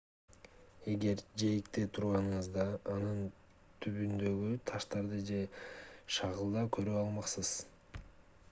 эгер жээкте турганыңызда анын түбүндөгү таштарды же шагылда көрө алмаксыз